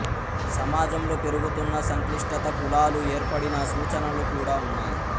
సమాజంలో పెరుగుతున్న సంక్లిష్టత కులాలు ఏర్పడిన సూచనలు కూడా ఉన్నాయి